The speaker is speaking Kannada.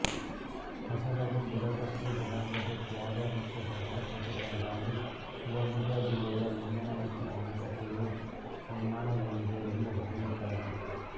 ಹಸಲರು ಬುಡಕಟ್ಟು ಜನಾಂಗದ ತ್ಯಾಗ ಮತ್ತು ಶ್ರಮದ ಪ್ರತಿಫಲವಾಗಿ ಶಿವಮೊಗ್ಗ ಜಿಲ್ಲೆಯ ಲಿಂಗನಮಕ್ಕಿ ಅಣೆಕಟ್ಟೆಯು ನಿರ್ಮಾಣಗೊಂಡಿದೆ ಎಂದು ಹೇಳುತ್ತರೆ